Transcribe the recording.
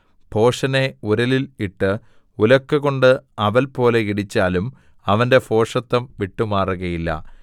ഭോഷനെ ഉരലിൽ ഇട്ട് ഉലക്കകൊണ്ട് അവൽപോലെ ഇടിച്ചാലും അവന്റെ ഭോഷത്തം വിട്ടുമാറുകയില്ല